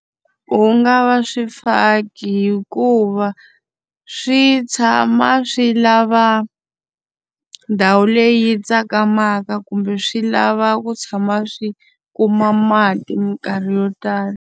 Ku nga va swifaki hikuva swi tshama swi lava ndhawu leyi tsakamaka kumbe swi lava ku tshama swi kuma mati minkarhi yo tala.